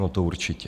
No to určitě.